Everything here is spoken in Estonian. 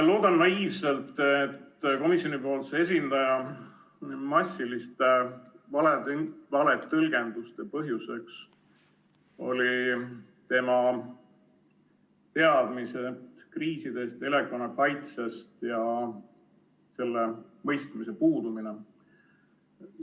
Loodan naiivselt, et komisjoni esindaja massiliste valetõlgenduste põhjuseks olid tema teadmised kriisidest ja elanikkonnakaitsest ning mõistmise puudumine.